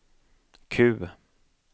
Q